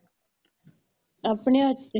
ਆਪਣੇ ਹੱਥ ਚ